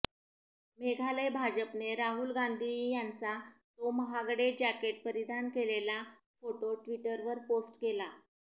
मेघालय भाजपने राहुल गांधी यांचा तो महागडे जॅकेट परिधान केलेला फोटो ट्विटरवर पोस्ट केला